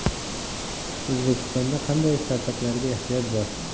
O‘zbekistonda qanday startaplarga ehtiyoj bor?.